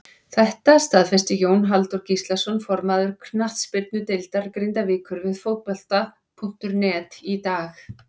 Þetta staðfesti Jón Halldór Gíslason formaður knattspyrnudeildar Grindavíkur við Fótbolta.net í dag.